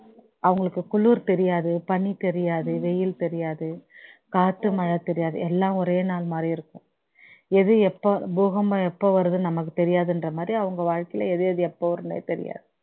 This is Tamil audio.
அவங்களுக்கு குளிர் தெரியாது பணி தெரியாது வெயில் தெரியாது காத்து மழை தெரியாது எல்லாம் ஒரே நாள் மாதிரி இருக்கும் எது எப்போ பூகம்பம் எப்போ வருதுன்னு நமக்கு தெரியாதுன்ற மாதிரி அவங்க வாழ்க்கையில எது எது எப்போ வரும்னே தெரியாது